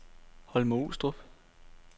Holme-Olstrup